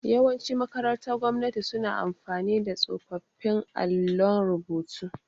Yawanci makarantar gwamnati suna amfani da tsofaffin allun rubutu.